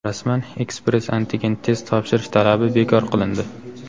Rasman ekspress-antigen test topshirish talabi bekor qilindi.